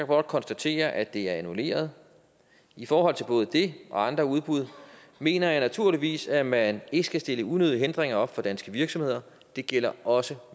blot konstatere at det er annulleret i forhold til både det og andre udbud mener jeg naturligvis at man ikke skal stille unødige hindringer op for danske virksomheder det gælder også